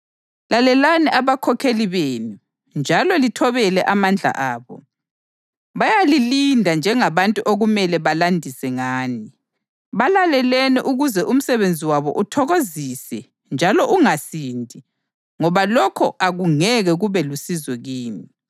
Lalelani abakhokheli benu njalo lithobele amandla abo. Bayalilinda njengabantu okumele balandise ngani. Balaleleni ukuze umsebenzi wabo uthokozise njalo ungasindi ngoba lokho akungeke kube lusizo kini.